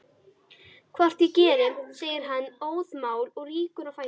Hvort ég geri, segir hann óðamála og rýkur á fætur.